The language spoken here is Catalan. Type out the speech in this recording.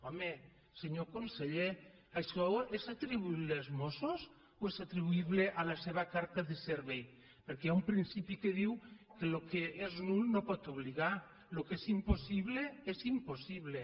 home senyor conseller això és atribuïble als mossos o és atribuïble a la seva carta de servei perquè hi ha un principi que diu que el que és nul no pot obligar el que és impossible és impossible